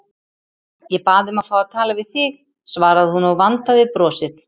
Ég bað um að fá að tala við þig, svaraði hún og vandaði brosið.